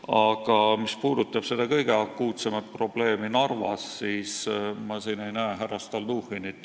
Aga mis puudutab seda kõige akuutsemat probleemi, Narva probleemi, siis ma ei näe siin härra Stalnuhhinit.